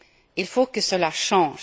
Il faut que cela change.